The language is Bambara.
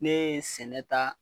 Ne ye sɛnɛ ta